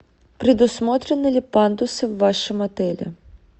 предусмотрены ли пандусы в вашем отеле